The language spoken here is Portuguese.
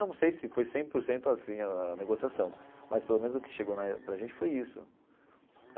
Não sei se foi cem por cento assim a a negociação, mas pelo menos o que chegou na para a gente foi isso.